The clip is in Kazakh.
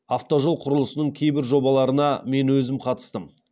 автожол құрылысының кейбір жобаларына мен өзім қатыстым